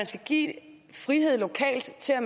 skal gives frihed lokalt til at